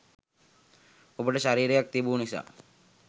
ඔබට ශරීරයක් තිබූ නිසා